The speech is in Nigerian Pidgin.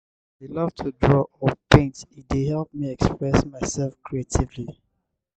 i dey love to draw or paint e dey help me express myself creatively.